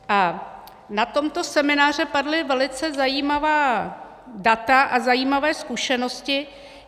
A na tomto semináři padla velice zajímavá data a zajímavé zkušenosti.